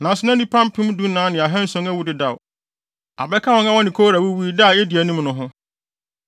Nanso na nnipa mpem dunan ne ahanson awuwu dedaw abɛka wɔn a wɔne Kora wuwui da a edi anim no ho.